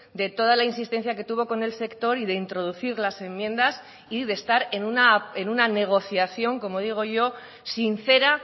de toda la insistencia que tuvo con el sector y de introducir las enmiendas y de estar en una negociación como digo yo sincera